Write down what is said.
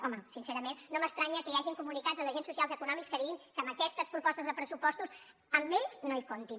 home sincerament no m’estranya que hi hagi comunicats dels agents socials econòmics que diguin que amb aquestes propostes de pressupostos amb ells no hi comptin